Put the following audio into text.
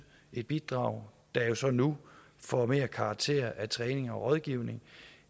et bidrag der jo så nu får mere karakter af træning og rådgivning